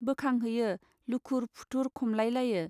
बोखां हैयो लुखुर पुथुर खमलाइ लायो.